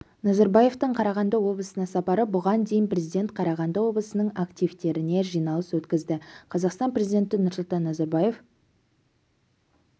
назарбаевтың қарағанды облысына сапары бұған дейін президент қарағанды облысының активтеріне жиналыс өткізді қазақстан президенті нұрсұлтан назарбаев